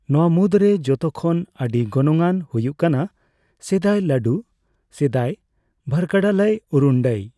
ᱱᱚᱣᱟ ᱢᱩᱫᱽᱨᱮ ᱡᱷᱚᱛᱚ ᱠᱷᱚᱱ ᱟᱹᱰᱤ ᱜᱚᱱᱚᱝᱟᱱ ᱦᱩᱭᱩᱜ ᱠᱟᱱᱟ ᱥᱤᱫᱟᱭ, ᱞᱟᱹᱰᱩ ᱥᱤᱫᱟᱭ, ᱵᱷᱟᱨᱠᱟᱰᱟᱞᱟᱭ ᱩᱨᱩᱱᱰᱟᱭ ᱾